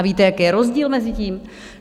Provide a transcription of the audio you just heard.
A víte, jaký je rozdíl mezi tím?